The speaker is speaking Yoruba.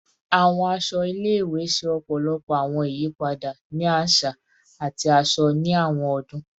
Awọn aṣọ ile-iwe ṣe ọpọlọpọ awọn iyipada ni aṣa ati aṣọ ni awọn ọdun